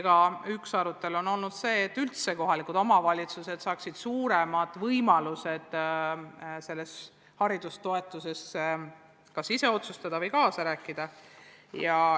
Ja üks teema on olnud see, et üldse kohalikud omavalitsused saaksid suuremad võimalused selle haridustoetuse üle kas ise otsustada või kaasa rääkida.